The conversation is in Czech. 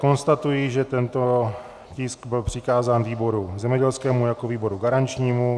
Konstatuji, že tento tisk byl přikázán výboru zemědělskému jako výboru garančnímu.